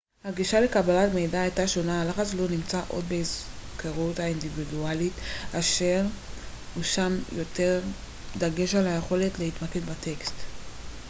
הגישה לקבלת מידע הייתה שונה הלחץ לא נמצא עוד בהיזכרות האינדיבידואלית אלא הושם יותר דגש על היכולת להתמקד בטקסט